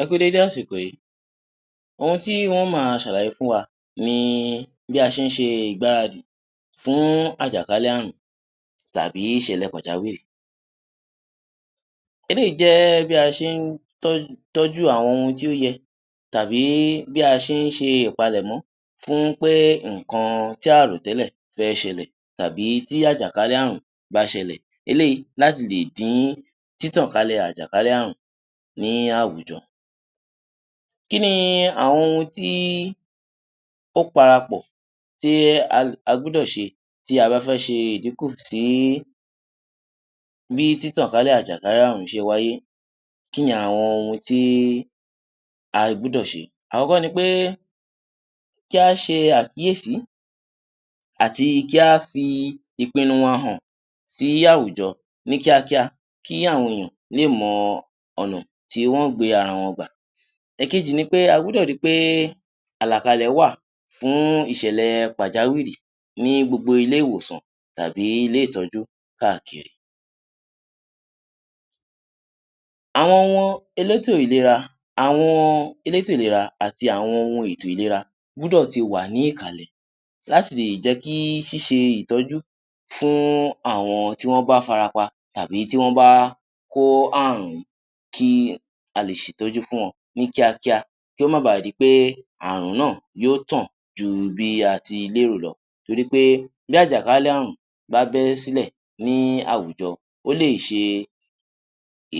Ẹ kú u dédé àsìkò yìí, ohun tí n ó máa ṣàlàyé fún wa ni bí a ṣe ń ṣe ìgbaradì fún àjàkálẹ̀-ààrùn tàbí ìṣẹ̀lẹ̀ pàjáwìrì. Eléyìí jẹ́ bí a ṣe ń tọ́, tọ́jú àwọn ohun tí ó yẹ, tàbí bí a ṣe ń ṣe ìpalẹ̀mọ́ fún pé nǹkan tí a à rò tẹ́lẹ̀ fẹ́ ṣẹlẹ̀ tàbí tí àjàkálẹ̀-ààrùn bá ṣẹlẹ̀. Eléyìí láti lè dín títànkálẹ̀ àjàkálẹ̀-ààrùn ní àwùjọ. Kí ni àwọn ohun tí ó parapọ̀ tí a a gbúdọ̀ ṣe, tí a bá fẹ́ ṣe ìdínkù sí bí títànkálẹ̀ àjàkálẹ̀-ààrùn ṣe wáyé, kí ni àwọn ohun tí a gbúdọ̀ ṣe? Àọ́kọ́ ni pé kí á ṣe àkíyèsí àti kí á fi ìpinnu wa hàn sí àwùjọ ní kíákíá, kí àwọn èèyàn lè mọ̀ ọ̀nà tí wọ́n ó gbé ara wọn gbà. Ẹ̀kejì ni pé a gbúdọ̀ ri pé àlàkalẹ̀ wà fún ìṣẹ̀lẹ̀ pàjáwìrì ní gbogbo ilé-ìwòsàn tàbí ilé-ìtọ́jú káàkiri. Àwọn elétò ìlera. Àwọn elétò ìlera àti àwọn ohun ètò-ìlera gbúdọ̀ ti wà ní ìkàlẹ̀, láti lè jẹ́ kí ṣíṣe ìtọ́jú fún àwọn tí wọ́n bá fara pa tàbí tí wọ́n bá kó ààrùn, kí a lè ṣètọ́jú fún wọn ní kíákíá kí ó má ba di pé àààrùn náà yóó tàn ju bí a ti lérò lọ, torí pé bí àjàkálẹ̀-ààrùn bá bẹ́ sílẹ̀ ní àwùjọ, ó lè ṣe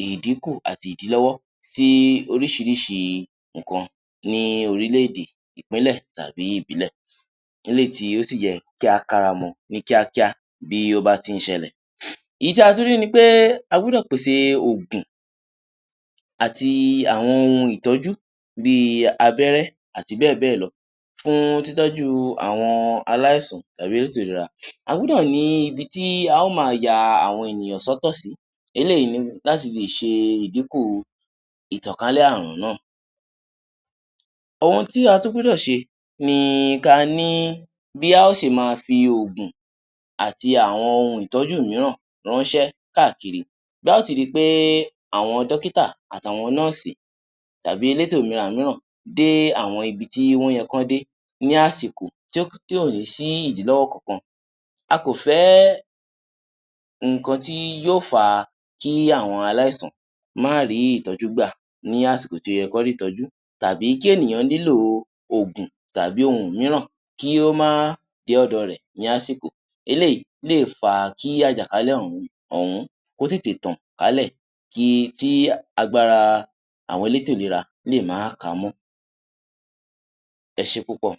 ìdínkù àti ìdílọ́wọ́ sí oríṣìíríṣìí nǹkan ní orílẹ̀-èdè, ìpínlẹ̀ tàbí ìbílẹ̀. Eléyìí tí ó sì yẹ kí á káramọ ní kíákíá bí ó bá ti ń ṣẹlẹ̀. Èyí tí a tún rí ni pé a gbúdọ̀ pèsè òògùn àti àwọn ohun ìtọ́́jú bí i abẹ́rẹ́ àti bẹ́ẹ̀ bẹ́ẹ̀ lọ fún títọ́jú àwọn aláìsàn tàbí elétò ìlera. A gbúdọ̀ ní ibi tí a ó máa ya àwọn ènìyàn sọ́tọ̀ sí, eléyìí ni láti lè ṣe ìdínkù ìtànkálẹ̀ àààrùn náà. Ohun tí a tún gbúdọ̀ ṣe ni ka ní bí a ó ṣe máa fi òògùn àti àwọn ohun ìtọ́jú mìíràn ránṣẹ́ káàkiri. Bí a ó ti ri pé àwọn dọ́kítà àti àwọn nọ́ọ̀sì tàbí elétò ìlera mìíran dé àwọn ibi tí wọ́n yẹ kí wọ́n dé ní àsìkò, ti ò ti ò sí ìdílówọ́ kankan. A kò fẹ́ nǹkan tí yóò fà á kí àwọn aláìsàn má rí ìtọ́jú gbà ní àsìkò tí ó yẹ́ kí wọ́n rí ìtọ́jú, tàbí kí ènìyàn nílò òògùn tàbí ohun mìíràn kí ó má dé ọ̀dọ̀ rẹ̀ ní àsìkò. Eléyìí lè fa kí àjàkálẹ̀-ààrùn ọ̀hún kó tètè tàn kálẹ̀ ki tí agbára àwọn elétò ìlera lè má ka mọ́. Ẹ ṣé púpọ̀!